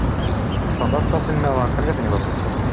চন্দন চিনি নাপাৱ কেনেকে চিনি পাবিনো এতিয়া